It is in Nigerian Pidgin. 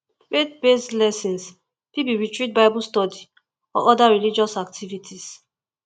faith based lessons fit be retreat bible study or oda religious activities